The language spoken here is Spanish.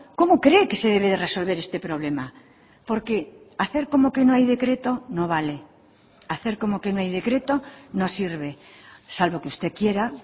cómo cree que se debe de resolver este problema porque hacer como que no hay decreto no vale hacer como que no hay decreto no sirve salvo que usted quiera